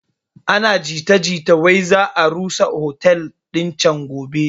Ana jita jita wai za a rusa otel din can gobe